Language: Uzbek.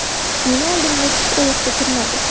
Meni oldimda tik oyoqda turmadi.